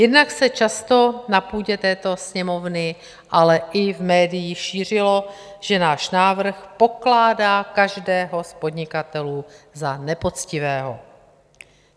Jednak se často na půdě této Sněmovny, ale i v médiích šířilo, že náš návrh pokládá každého z podnikatelů za nepoctivého.